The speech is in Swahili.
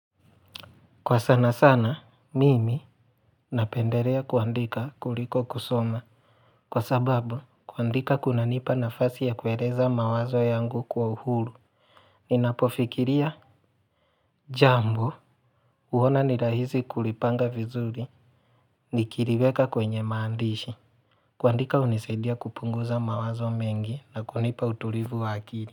Kwa sana sana, mimi napendelea kuandika kuliko kusoma. Kwa sababu, kuandika kuna nipa nafasi ya kueleza mawazo yangu kwa uhuru. Ninapofikiria, jambo, huona ni rahisi kulipanga vizuri, nikiliweka kwenye maandishi. Kuandika hunisaidia kupunguza mawazo mengi na kunipa utulivu wa akili.